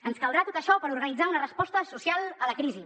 ens caldrà tot això per organitzar una resposta social a la crisi